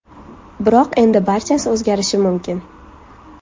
Biroq endi barchasi o‘zgarishi mumkin.